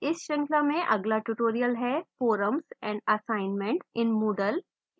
इस श्रृंखला में अगला tutorial है forums and assignments in moodle